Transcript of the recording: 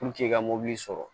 i ka mɔbili sɔrɔ